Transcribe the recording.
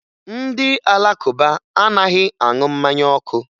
Ndị Alakụba anaghị aṅụ mmanya ọkụ